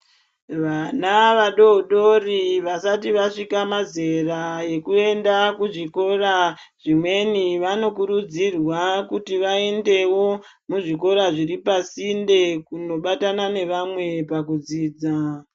Vana vadodori vasati vasvika mazera ekuenda kuzvikora zvimweni vanokurudzirwa kuti vaendewo muzvikora zviri pasinde kunobatana nevamwe pakudzidza.